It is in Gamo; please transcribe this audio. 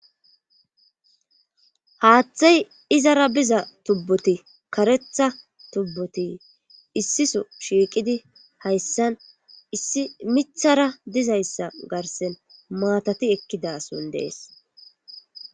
haaththay izara biza tubboti karetha tubboti issiso shiiqidi hayssan issi mithara dizayssa garsen maatati ekkidason dees